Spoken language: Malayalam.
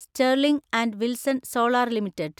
Sterling and Wilson Solar limited